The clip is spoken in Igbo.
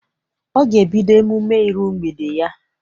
Ọ ga ebido emume ịru mgbede ya.